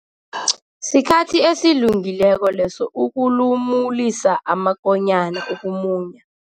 Sikhathi esilungileko leso ukulumulisa amakonyana ukumunya.